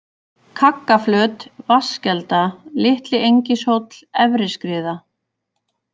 Kaggaflöt, Vatnskelda, Litli-Engishóll, Efri-Skriða